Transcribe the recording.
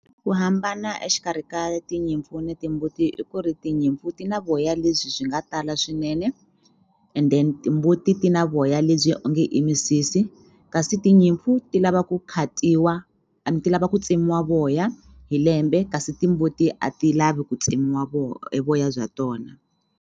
Ku hambana exikarhi ka tinyimpfu ni timbuti i ku ri tinyimpfu ti na voya lebyi byi nga tala swinene and then timbuti ti na voya lebyi onge i misisi kasi tinyimpfu ti lava ku khatiwa and ti lava ku tsemiwa voya hi lembe kasi timbuti a ti lavi ku tsemiwa evoya bya tona.